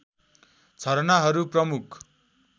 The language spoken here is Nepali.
झरनाहरू प्रमुख